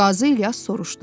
Qazi İlyas soruşdu.